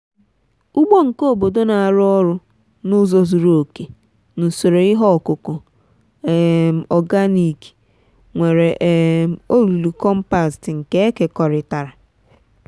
ugbo nke obodo n'arụ ọrụ n'ụzọ zuru oke na usoro ihe ọkụkụ um organic nwere um olulu compost nke eke kọrịtara.